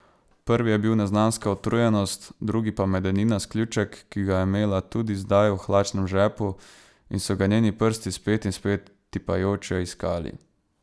Prvi je bil neznanska utrujenost, drugi pa medeninast ključek, ki ga je imela tudi zdaj v hlačnem žepu in so ga njeni prsti spet in spet tipajoče iskali.